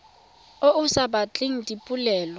o o sa batleng dipoelo